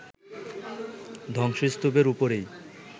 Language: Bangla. ধ্বংসস্তূপের উপরই